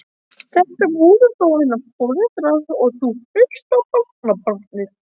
Þetta voru þó hennar foreldrar og þú fyrsta barnabarnið.